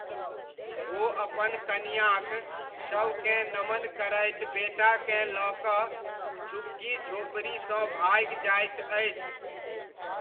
ओ अपन कनियाँक शवकेँ नमन करैत बेटाकेँ लऽ कऽ झुग्गी झोपड़ीसँ भागि जाइत अछि।